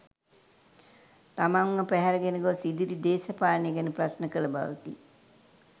තමන්ව පැහැරගෙන ගොස්‌ ඉදිරි දේශපාලනය ගැන ප්‍රශ්න කළ බවකි.